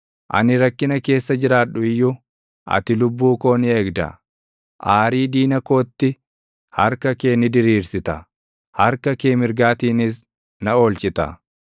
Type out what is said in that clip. Ani rakkina keessa jiraadhu iyyuu, ati lubbuu koo ni eegda; aarii diina kootti harka kee ni diriirsita; harka kee mirgaatiinis na oolchita.